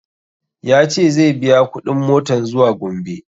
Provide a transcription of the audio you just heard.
Ya ce zai biya kuɗin motan zuwa gombe